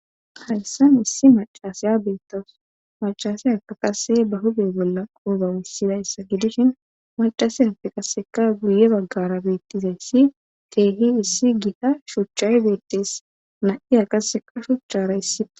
harsan issi macasaya beettawus macaseyaka qase ba hude bolla qouba wussidayssa gidishin macaseyappe qaseka guye baggara beettizayssi teehi issi gita shuuchchay beettees na7i a qaseka shuchchara issi